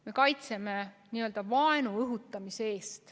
Me kaitseme n-ö vaenu õhutamise eest.